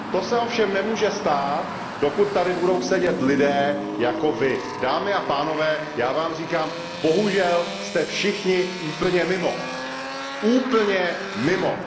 To se ovšem nemůže stát, dokud tady budou sedět lidé jako vy. Dámy a pánové, já vám říkám, bohužel, jste všichni úplně mimo, úplně mimo.